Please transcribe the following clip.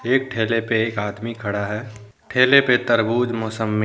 एक ठेले पे एक आदमी खड़ा है ठेले पे तरबूज मोसम्मी--